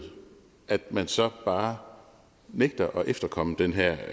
at man så bare nægter at efterkomme den her